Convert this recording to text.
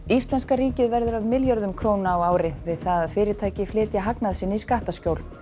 Íslenska ríkið verður af milljörðum króna á ári við það að fyrirtæki flytja hagnað sinn í skattaskjól